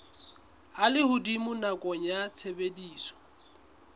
a lehodimo nakong ya tshebediso